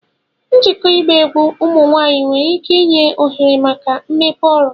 Njikọ ịgba egwu ụmụ nwanyị nwere ike inye ohere maka mmepe ọrụ